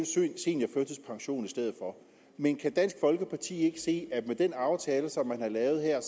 en seniorførtidspension i stedet for men kan dansk folkeparti ikke se at med den aftale som man har lavet her